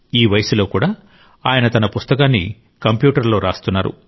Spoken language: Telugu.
ఈ వయస్సులో కూడా ఆయన తన పుస్తకాన్ని కంప్యూటర్లో రాస్తున్నారు